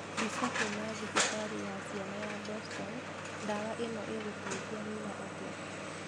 Mbica kuma thibitarĩ ya ciana ya Boston, ndawa ĩno ĩgũteithia Mila atĩa?